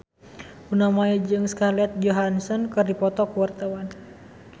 Luna Maya jeung Scarlett Johansson keur dipoto ku wartawan